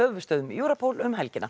höfuðstöðvum Europol um helgina